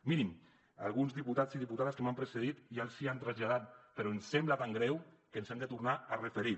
mirin alguns diputats i diputades que m’han precedit ja els hi han traslladat però ens sembla tan greu que ens hi hem de tornar a referir